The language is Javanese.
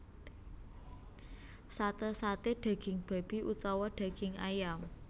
Sate saté daging babi utawa daging ayam